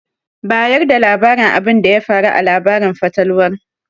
Bayar da labarin abinda ya faru a labarin fatalwar.